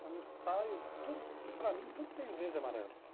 Quando eu saio, tudo para mim, tudo tem verde e amarelo.